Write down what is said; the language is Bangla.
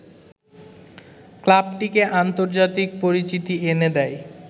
ক্লাবটিকে আন্তর্জাতিক পরিচিতি এনে দেয়